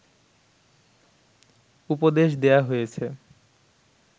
উপদেশ দেয়া হয়েছে